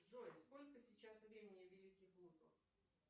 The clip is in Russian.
джой сколько сейчас времени в великих луках